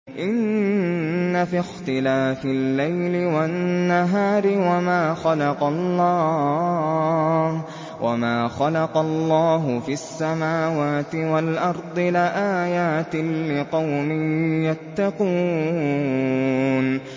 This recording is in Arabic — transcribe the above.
إِنَّ فِي اخْتِلَافِ اللَّيْلِ وَالنَّهَارِ وَمَا خَلَقَ اللَّهُ فِي السَّمَاوَاتِ وَالْأَرْضِ لَآيَاتٍ لِّقَوْمٍ يَتَّقُونَ